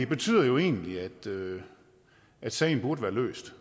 betyder jo egentlig at sagen burde være løst